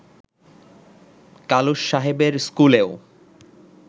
কালুস সাহেবের স্কুলেও